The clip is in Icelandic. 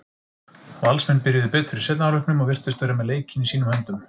Valsmenn byrjuðu betur í seinni hálfleiknum og virtust vera með leikinn í sínum höndum.